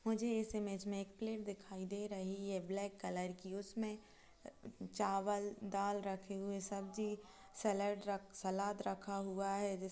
मुझे इस इमेज में एक प्लेट दिखाई दे रही है ब्लैक कलर की उसमें चवाल दाल रखे हुए सब्जी सैलेड रख सलाड रखा हुआ है जिस --